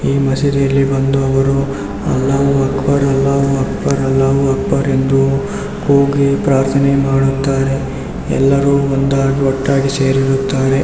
ಈ ಮಸೀದಿಯಲ್ಲಿ ಬಂದು ಅಲ್ಲಾಓ ಅಕ್ಬರ್ಅಲ್ಲಾಓ ಅಕ್ಬರ್ಅಲ್ಲಾಓ ಅಕ್ಬರ್ ಎಂದು ಕೂಗಿ ಪ್ರಾರ್ಥನೆ ಮಾಡುತ್ತಾರೆ ಎಲ್ಲರೂ ಒಂದಾಗಿ ಒಟ್ಟಾಗಿ ಸೇರಿರುತ್ತಾರೆ.